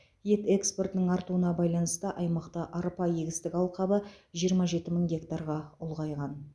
ет экспортының артуына байланысты аймақта арпа егістік алқабы жиырма жеті мың гектарға ұлғайған